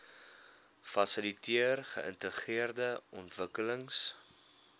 fasiliteer geïntegreerde ontwikkelings